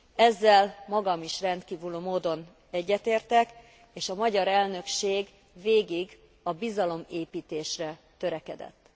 Ezzel magam is rendkívüli módon egyetértek, és a magyar elnökség végig a bizalomépítésre törekedett.